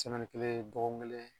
kelen dɔgɔkun kelen